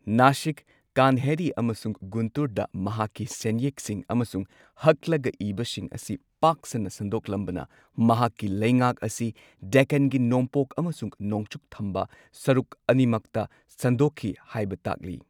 ꯅꯥꯁꯤꯛ, ꯀꯥꯟꯍꯦꯔꯤ ꯑꯃꯁꯨꯡ ꯒꯨꯟꯇꯨꯔꯗ ꯃꯍꯥꯛꯀꯤ ꯁꯦꯟꯌꯦꯛꯁꯤꯡ ꯑꯃꯁꯨꯡ ꯍꯛꯂꯒ ꯏꯕꯁꯤꯡ ꯑꯁꯤ ꯄꯥꯛ ꯁꯟꯅ ꯁꯟꯗꯣꯛꯂꯝꯕꯅ ꯃꯍꯥꯛꯀꯤ ꯂꯩꯉꯥꯛ ꯑꯁꯤ ꯗꯦꯛꯀꯥꯟꯒꯤ ꯅꯣꯡꯄꯣꯛ ꯑꯃꯁꯨꯡ ꯅꯣꯡꯆꯨꯞ ꯊꯪꯕ ꯁꯔꯨꯛ ꯑꯅꯤꯃꯛꯇ ꯁꯟꯗꯣꯛꯈꯤ ꯍꯥꯏꯕ ꯇꯥꯛꯂꯤ꯫